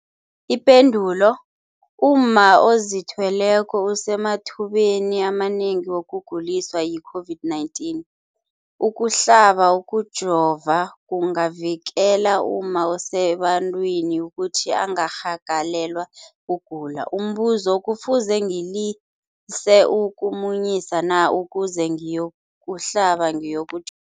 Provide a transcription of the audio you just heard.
Ipendulo, umma ozithweleko usemathubeni amanengi wokuguliswa yi-COVID-19. Ukuhlaba, ukujova kungavikela umma osebantwini ukuthi angarhagalelwa kugula. Umbuzo, kufuze ngilise ukumunyisa na ukuze ngiyokuhlaba, ngiyoku